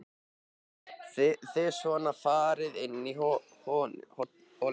Þið svona farið inn í hollum?